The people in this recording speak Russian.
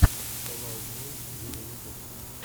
фэл аут бой виво ютуб